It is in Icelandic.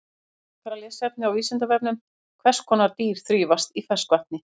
Frekara lesefni á Vísindavefnum: Hvers konar dýr þrífast í ferskvatni?